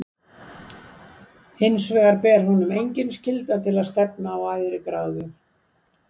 Hinsvegar ber honum engin skylda til að stefna á æðri gráðu.